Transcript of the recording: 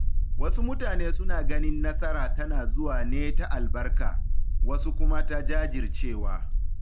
Wasu mutane suna ganin nasara tana zuwa ne ta albarka, wasu kuma ta jajircewa.